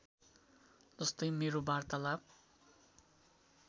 जस्तै मेरो वार्तालाप